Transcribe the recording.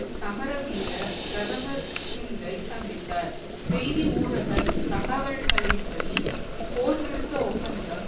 சமரவீர பிரதமர் சிங்கை சந்தித்தார் செய்தி ஊடக தகவல்களின்படி போர்நிறுத்த ஒப்பந்தம்